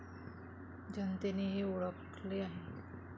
जनतेने हे ओळखले आहे.